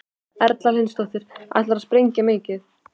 Erla Hlynsdóttir: Ætlarðu að sprengja mikið?